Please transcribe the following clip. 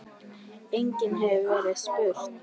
Einnig hefur verið spurt